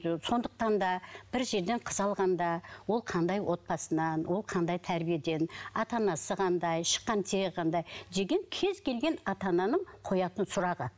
сондықтан да бір жерден қыз алғанда ол қандай отбасынан ол қандай тәрбиеден ата анасы қандай шыққан тегі қандай деген кез келген ата ананың қоятын сұрағы